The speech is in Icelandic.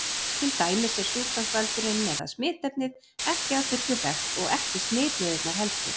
Til dæmis er sjúkdómsvaldurinn eða smitefnið ekki að fullu þekkt og ekki smitleiðirnar heldur.